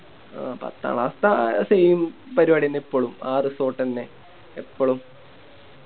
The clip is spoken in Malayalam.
ആ പത്താം Class ത്തെ Same പരിപാടിന്നെ ഇപ്പളും ആ Resort ന്നെ ഇപ്പളും